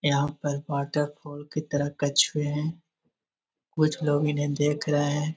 यहां पर water pool की तरफ कछुए हैं कुछ लोग इन्हें देख रहे हैं।